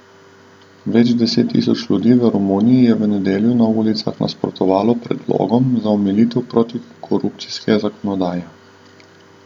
Več deset tisoč ljudi v Romuniji je v nedeljo na ulicah nasprotovalo predlogom za omilitev protikorupcijske zakonodaje.